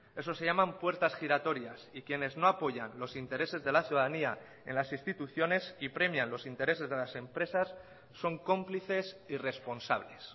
eso se llaman puertas giratorias y quienes no apoyan los intereses de la ciudadanía en las instituciones y premian los intereses de las empresas son cómplices y responsables